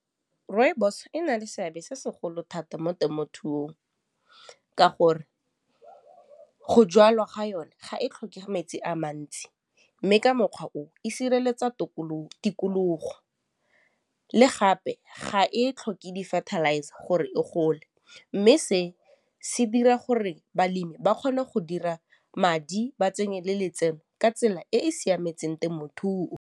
Rooibos e na le seabe se segolo thata mo temothuong ka gore go jwalwa ga yone ga e tlhokege metsi a mantsi mme ka mokgwa o e sireletsa tikologo le gape ga e tlhoke di-fertilizer gore e gole mme se se dira gore balemi ba kgone go dira madi ba tsenye le letseno ka tsela e e siametseng temothuo.